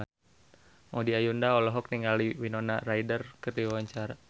Maudy Ayunda olohok ningali Winona Ryder keur diwawancara